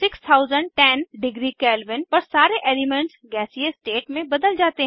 6010 degree Kelvin पर सारे elements गैसीय स्टेट में बदल जाते हैं